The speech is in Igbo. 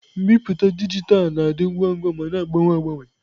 Mbipụta dijitalụ na-adị ngwa ma na-agbanwe agbanwe.